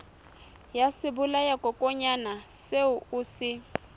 ya sebolayakokwanyana seo o se